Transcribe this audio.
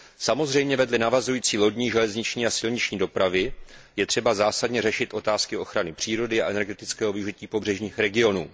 Samozřejmě vedle navazující lodní, železniční a silniční dopravy je třeba zásadně řešit otázky ochrany přírody a energetického využití pobřežních regionů.